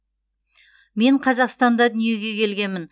мен қазақстанда дүниеге келгенмін